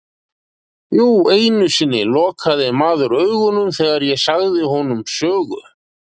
Jú einu sinni lokaði maður augunum þegar ég sagði honum sögu.